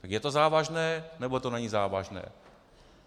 Tak je to závažné, nebo to není závažné?